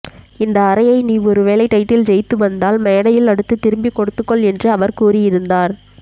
இந்த அறையை நீ ஒருவேளை டைட்டில் ஜெயித்து வந்தால் மேடையில் அடுத்து திருப்பிக் கொடுத்துகொள் என்று அவர் கூறியிருந்தார்